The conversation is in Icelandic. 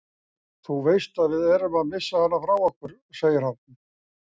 Þú veist að við erum að missa hana frá okkur, segir hann.